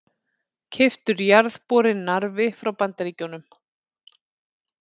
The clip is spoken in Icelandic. Keyptur jarðborinn Narfi frá Bandaríkjunum.